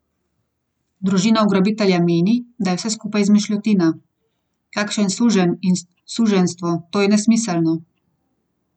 Družina ugrabitelja meni, da je vse skupaj izmišljotina: ''Kakšen suženj in suženjstvo, to je nesmiselno.